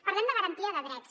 parlem de garantia de drets